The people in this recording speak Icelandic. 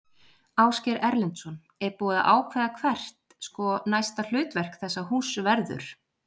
Ásgeir Erlendsson: Er búið að ákveða hvert, sko, næsta hlutverk þessa húss verður?